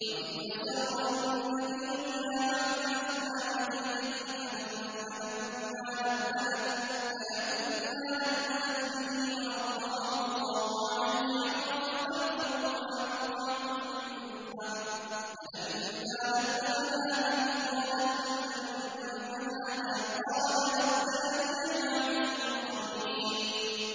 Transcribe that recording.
وَإِذْ أَسَرَّ النَّبِيُّ إِلَىٰ بَعْضِ أَزْوَاجِهِ حَدِيثًا فَلَمَّا نَبَّأَتْ بِهِ وَأَظْهَرَهُ اللَّهُ عَلَيْهِ عَرَّفَ بَعْضَهُ وَأَعْرَضَ عَن بَعْضٍ ۖ فَلَمَّا نَبَّأَهَا بِهِ قَالَتْ مَنْ أَنبَأَكَ هَٰذَا ۖ قَالَ نَبَّأَنِيَ الْعَلِيمُ الْخَبِيرُ